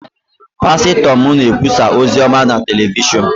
pastọ m na-ekwusa ozi ọma na telivishọn